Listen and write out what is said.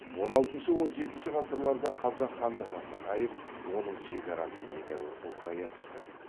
он алтыншы он жетінші ғасырларда қазақ хандығы нығайып оның шекарасы едәуір ұлғая түсті